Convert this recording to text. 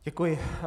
Děkuji.